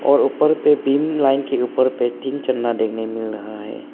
और ऊपर पे बीम लाइन के ऊपर पर तीन चन्ना देखने मिल रहा है।